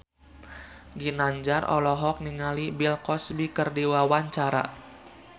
Ginanjar olohok ningali Bill Cosby keur diwawancara